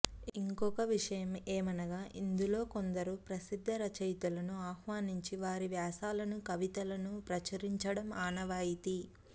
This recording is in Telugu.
ఇంకొక విషయము ఏమనగా ఇందులో కొందరు ప్రసిద్ధ రచయితలను ఆహ్వానించి వారి వ్యాసాలను కవితలను ప్రచురించడము ఆనవాయితీ